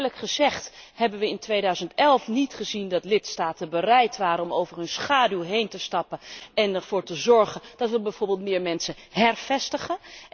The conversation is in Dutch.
Maar eerlijk gezegd hebben we in 2011 niet gezien dat lidstaten bereid waren om over hun schaduw heen te stappen en ervoor te zorgen dat we bijvoorbeeld meer mensen hervestigen.